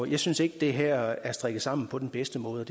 jeg synes ikke at det her er strikket sammen på den bedste måde